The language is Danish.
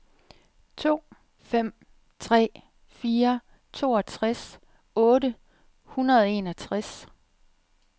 to fem tre fire toogtres otte hundrede og enogtres